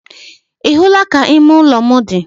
Ị hụla ka ime ụlọ m dị?